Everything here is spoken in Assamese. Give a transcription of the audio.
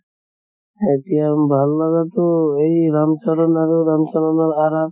এতিয়া ভাল লাগাতো এই ৰাম চৰন আৰু ৰাম চৰণৰ RR